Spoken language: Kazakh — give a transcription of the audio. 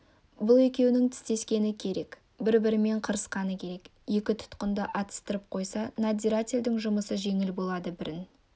бұл екеуінің тістескені керек бір-бірімен қырқысқаны керек екі тұтқынды атыстырып қойса надзирательдің жұмысы жеңіл болады бірін